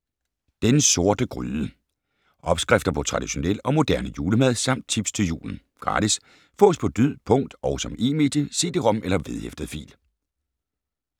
Den Sorte Gryde Opskrifter på traditionel og moderne julemad samt tips til julen. Gratis. Fås på lyd, punkt og som e-medie: cd-rom eller vedhæftet fil